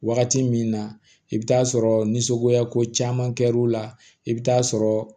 Wagati min na i bɛ taa sɔrɔ ni sogoya ko caman kɛra u la i bɛ taa sɔrɔ